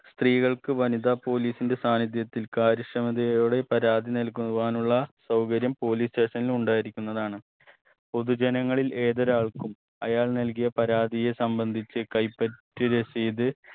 സ്ത്രീകൾക് വനിതാ police ന്റെ സാന്നിധ്യത്തിൽ കാര്യക്ഷമതയോടെ പരാതി നൽകുവാനുള്ള സൗകര്യം police station ൽ ഉണ്ടായിരിക്കുന്നതാണ് പൊതുജനങ്ങളിൽ ഏതൊരാൾക്കും അയാൾ നൽകിയ പരാതിയെ സംബന്ധിച്ച് കൈപ്പറ്റിയ രസീത്